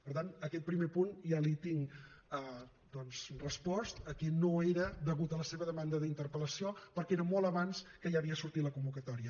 per tant aquest primer punt ja li tinc doncs respost que no era degut a la seva demanda de interpel·lació perquè era molt abans que ja havia sortit la convocatòria